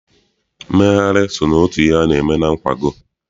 Mmegharị so n'otu ihe a na-eme na nkwago.